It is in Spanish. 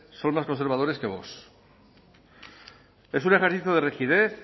son más conservadores que vox es un ejercicio de rigidez